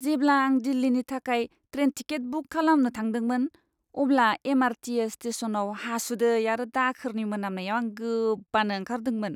जेब्ला आं दिल्लीनि थाखाय ट्रेन टिकेट बुक खालामनो थांदोंमोन, अब्ला एम.आर.टी.एस. स्टेशनआव हासुदै आरो दाखोरनि मोनामनायाव आं गोबानो ओंखारदोंमोन!